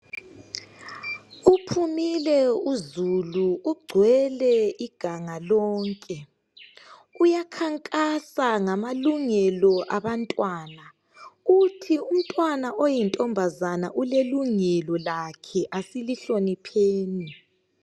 Uphumile uzulu ugcwele iganga lonke uyakhankasa ngamalungelo abantwana. Uthi umntwana oyintombazane ulelungelo lakhe asilihlonipheni.